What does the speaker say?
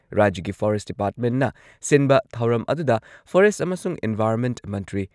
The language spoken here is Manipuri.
ꯔꯥꯖ꯭ꯌꯒꯤ ꯐꯣꯔꯦꯁꯠ ꯗꯤꯄꯥꯔꯠꯃꯦꯟꯠꯅ ꯁꯤꯟꯕ ꯊꯧꯔꯝ ꯑꯗꯨꯗ ꯐꯣꯔꯦꯁꯠ ꯑꯃꯁꯨꯡ ꯏꯟꯚꯥꯏꯔꯟꯃꯦꯟꯠ ꯃꯟꯇ꯭ꯔꯤ